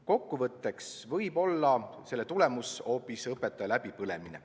Kokkuvõtteks võib selle tulemus olla hoopis õpetaja läbipõlemine.